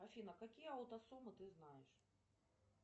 афина какие аутосомы ты знаешь